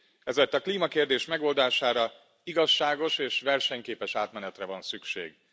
Ezért a klímakérdés megoldására, igazságos és versenyképes átmenetre van szükség.